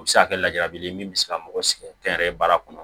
O bɛ se ka kɛ ladili ye min bɛ se ka mɔgɔ sɛgɛn kɛ yɛrɛ ye baara kɔnɔ